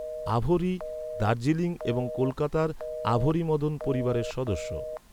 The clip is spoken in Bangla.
আভরী, দার্জিলিং এবং কলকাতার আভরী মদন পরিবারের সদস্য।